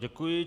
Děkuji.